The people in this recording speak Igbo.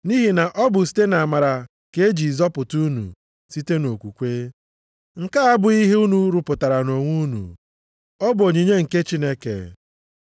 Nʼihi na ọ bụ site nʼamara ka e ji zọpụta unu site nʼokwukwe. Nke a abụghị ihe unu rụpụtara nʼonwe unu, ọ bụ onyinye nke Chineke.